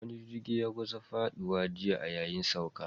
Wani jirgi ya kusa faɗuwa jiya yayin sauka